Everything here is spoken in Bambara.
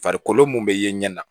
Farikolo mun be ye ɲɛ na